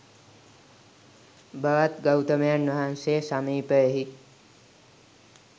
භවත් ගෞතමයන් වහන්සේ සමීපයෙහි